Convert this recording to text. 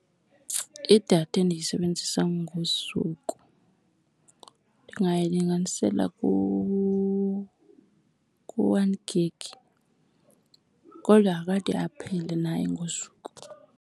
Idatha endiyisebenzisa ngosuku ndingayilinganisela ku-one gig kodwa akade aphele naye ngosuku.